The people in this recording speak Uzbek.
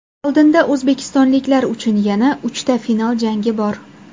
Oldinda o‘zbekistonliklar uchun yana uchta final jangi bor.